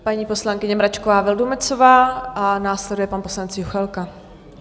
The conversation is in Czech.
Paní poslankyně Mračková Vildumetzová a následuje pan poslanec Juchelka.